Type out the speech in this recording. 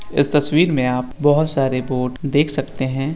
इस तस्वीर मे आप बहोत सारे बोर्ड देख सकते हैं।